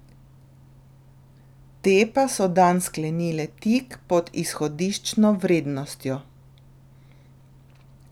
Te pa so dan sklenile tik pod izhodiščno vrednostjo.